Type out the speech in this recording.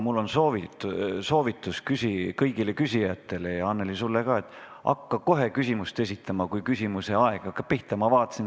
Mul on soovitus kõigile küsijatele ja, Annely, sulle ka, et hakka kohe küsimust esitama, kui küsimuse aeg pihta hakkab.